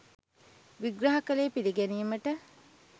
විග්‍රහ කළේ පිළිගැනීමට